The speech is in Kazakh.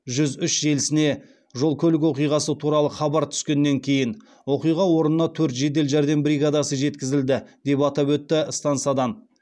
жүз үш желісіне жол көлік оқиғасы туралы хабар түскеннен кейін оқиға орнына төрт жедел жәрдем бригадасы жеткізілді деп атап өтті стансадан